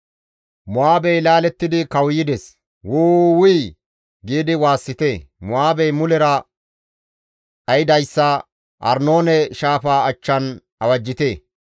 Mo7aabey laalettidi kawuyides; ‹Wu! Wuy› giidi waassite; Mo7aabey mulera dhaydayssa Arnoone Shaafa achchan awajjite!